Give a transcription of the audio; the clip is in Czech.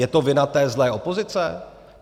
Je to vina té zlé opozice?